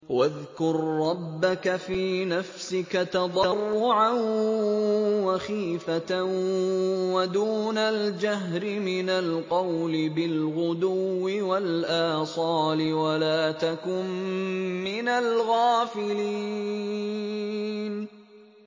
وَاذْكُر رَّبَّكَ فِي نَفْسِكَ تَضَرُّعًا وَخِيفَةً وَدُونَ الْجَهْرِ مِنَ الْقَوْلِ بِالْغُدُوِّ وَالْآصَالِ وَلَا تَكُن مِّنَ الْغَافِلِينَ